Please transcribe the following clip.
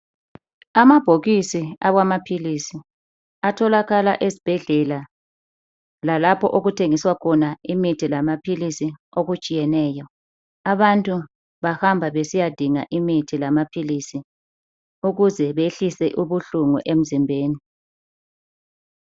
Amabhokisi alamaphilisi atholakala ezibhedlela lalapho okuthegiswa khona imithi lamaphilisi okutshiyeneyo abantu bahamba besiyadinga imithi lamaphilisi ukuze behlise ubuhlungu emzimbeni